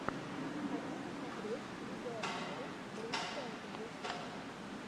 хочу посмотреть видеообзоры брик фэнтази